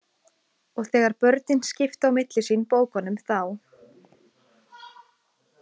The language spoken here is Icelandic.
Og þegar börnin skiptu á milli sín bókunum þá